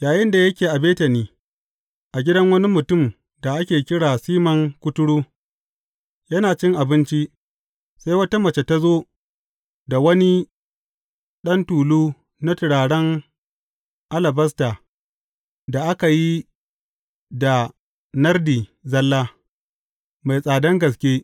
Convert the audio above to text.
Yayinda yake a Betani, a gidan wani mutumin da ake kira Siman Kuturu, yana cin abinci, sai wata mace ta zo da wani ɗan tulu na turaren alabasta da aka yi da nardi zalla, mai tsadan gaske.